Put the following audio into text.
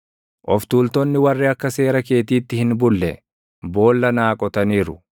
Of tuultonni warri akka seera keetiitti hin bulle, boolla naa qotaniiru.